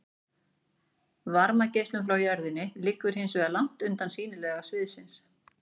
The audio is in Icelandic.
varmageislunin frá jörðinni liggur hins vegar langt utan sýnilega sviðsins